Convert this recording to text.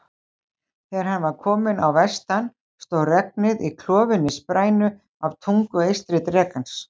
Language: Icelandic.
Þegar hann var á vestan stóð regnið í klofinni sprænu af tungu eystri drekans.